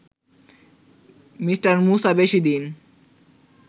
me: Musa বেশিদিন